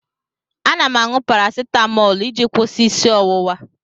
Ana m aṅụ parasitamọlụ iji kwụsị isi ọwụwa.